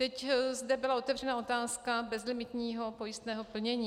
Teď zde byla otevřena otázka bezlimitního pojistného plnění.